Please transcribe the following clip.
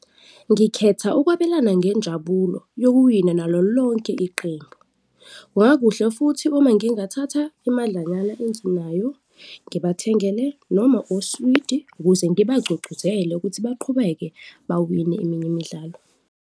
Ngikhetha ukwabelana ngenjabulo yokuwina nalo lonke iqembu, kungakuhle futhi uma ngingathatha imadlanyana enginayo ngibathengele noma uswidi ukuze ngibagcugcuzele ukuthi baqhubeke bawine eminye imidlalo.